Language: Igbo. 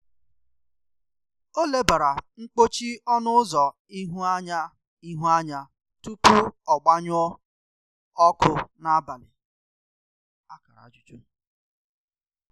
Ọ lebara mkpọchi ọnụ ụzọ ihu anya ihu anya tupu ọ gbanyụọ ọkụ n’abalị.